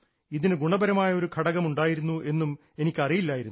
ഇതിന് ഗുണപരമായ ഒരു ഘടകം ഉണ്ടായിരുന്നു എന്നും എനിക്കറിയില്ലായിരുന്നു